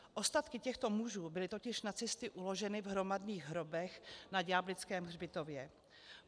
Ostatky těchto mužů byly totiž nacisty uloženy v hromadných hrobech na Ďáblickém hřbitově.